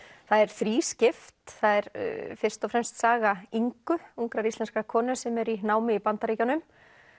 það er þrískipt það er fyrst og fremst saga Ingu ungrar íslenskrar konu sem er í námi í Bandaríkjunum